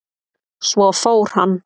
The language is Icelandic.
Svo fór hann.